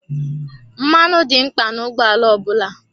Mmanụ dị mkpa na ụgbọ ala ọ bụla.